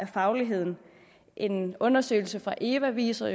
fagligheden en undersøgelse fra eva jo viser